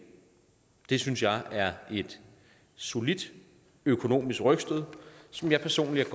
det synes jeg er et solidt økonomisk rygstød som jeg personligt